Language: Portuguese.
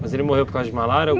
Mas ele morreu por causa de malária?